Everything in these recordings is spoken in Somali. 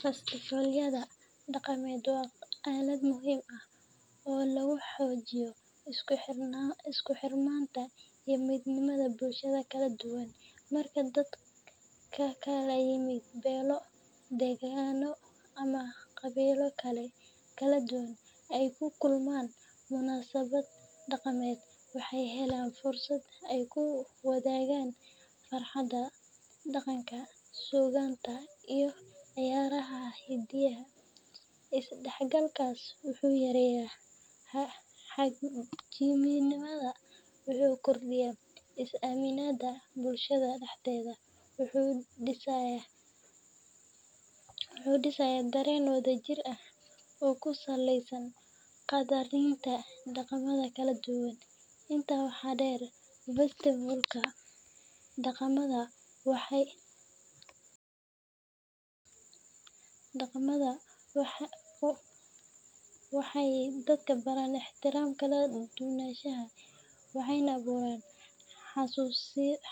Festivallada dhaqameed waa aalad muhiim ah oo lagu xoojiyo isku xirnaanta iyo midnimada bulshada kala duwan. Marka dad ka kala yimid beelo, deegaanno ama qabiilo kala duwan ay ku kulmaan munaasabad dhaqameed, waxay helaan fursad ay ku wadaagaan farxadda, dhaqanka, suugaanta iyo ciyaaraha hiddaha. Isdhexgalkaas wuxuu yareeyaa xagjirnimada, wuxuu kordhiyaa is-aaminaadda bulshada dhexdeeda, wuxuuna dhisayaa dareen wadajir ah oo ku saleysan qaddarinta dhaqamada kala duwan. Intaa waxaa dheer, festivallada dhaqameed waxay dadka baraan ixtiraamka kala duwanaanshaha, waxayna abuuraan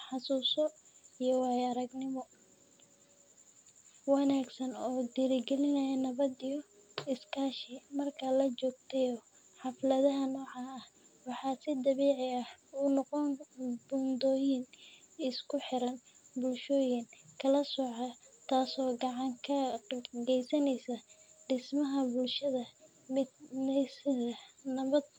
xasuuso iyo waayo-aragnimooyin wanaagsan oo dhiirrigeliya nabad iyo iskaashi. Marka la joogteeyo xafladaha noocan ah, waxay si dabiici ah u noqdaan buundooyin isku xira bulshooyin kala soocnaa, taasoo gacan ka geysanaysa dhismaha bulsho mideysan, nabad ah.